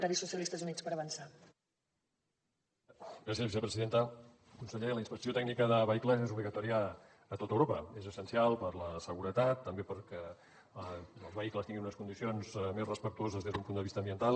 conseller la inspecció tècnica de vehicles és obligatòria a tot europa és essencial per la seguretat també perquè els vehicles tinguin unes condicions més respectuoses des d’un punt de vista ambiental